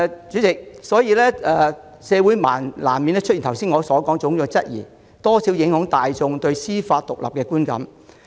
主席，社會人士難免有我剛才提到的種種質疑，而且公眾對司法獨立的觀感也會受到影響。